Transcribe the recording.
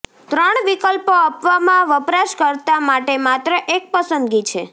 ત્રણ વિકલ્પો આપવામાં વપરાશકર્તા માટે માત્ર એક પસંદગી છે